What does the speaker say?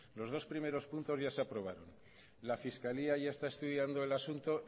los dos primeros puntos ya se aprobaron la fiscalía ya está estudiando el asunto